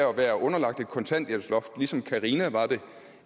at være underlagt et kontanthjælpsloft ligesom carina var det